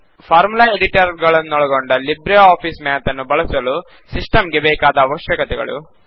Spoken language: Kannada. ಫಾರ್ಮುಲಾ ಎಡಿಟರ್ ಗಳನ್ನೊಳಗೊಂಡ ಲಿಬ್ರೆ ಆಫಿಸ್ ಮ್ಯಾತ್ ನ್ನು ಬಳಸಲು ಸಿಸ್ಟಂ ಗೆ ಬೇಕಾದ ಅವಶ್ಯಕತೆಗಳು